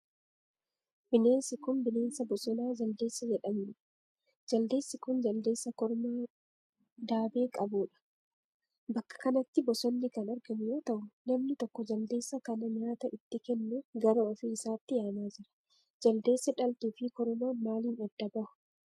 Bineensi kun, bineensa bosonaa jaldeessa jedhamuu dha. Jaldeessi kun, jaldeessa kormaa daabee qabuu dha. Bakka kanatti bosonni kan argamu yoo ta'u, namni tokko jaldeessa kana nyaata itti kennuuf gara ofii isaatti yaamaa jira. Jaldeessi dhaltuu fi kormaan maalin adda bahu?